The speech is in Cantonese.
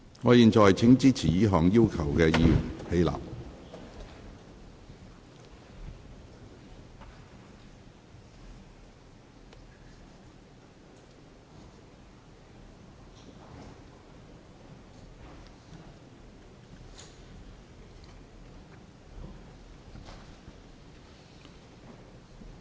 我現在請支持這項要求的議員起立。